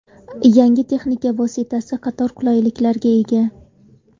Yangi texnika vositasi qator qulayliklarga ega.